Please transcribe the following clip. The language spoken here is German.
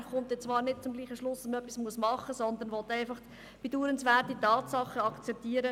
Er kommt dann zwar nicht zum selben Schluss, dass man etwas machen muss, sondern will einfach bedauernswerte Tatsachen akzeptieren.